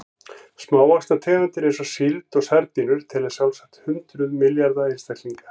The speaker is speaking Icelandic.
Smávaxnar tegundir eins og síld og sardínur telja sjálfsagt hundruð milljarða einstaklinga.